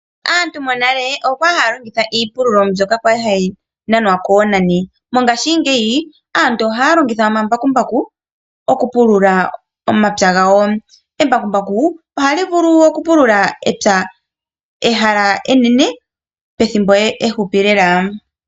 Aantu monale okwali yalongitha iipululo mbyoka yali hayi nanwa konani, mongashi ngeyi aantu ohaya longitha omambakumbaku oku pulula omapya gawo, embakumbaku ohali vulu okupulula epya ehala enene pethimbo eshupi lela.